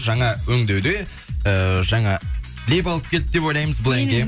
жаңа өңдеуде ыыы жаңа леп алып келді деп ойлаймыз бұл әнге